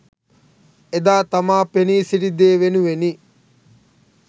එදා තමා පෙනී සිටි දේ වෙනුවෙනි